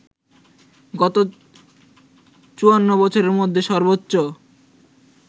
গত ৫৪ বছরের মধ্যে সর্বোচ্চ